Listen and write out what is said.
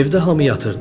Evdə hamı yatırdı.